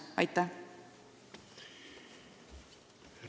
Aitäh!